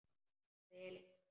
Hve lengi?